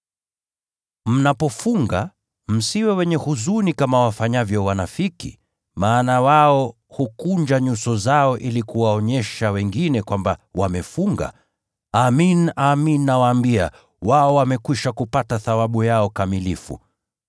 “Mnapofunga, msiwe wenye huzuni kama wafanyavyo wanafiki. Maana wao hukunja nyuso zao ili kuwaonyesha wengine kwamba wamefunga. Amin, amin nawaambia wao wamekwisha kupata thawabu yao kamilifu.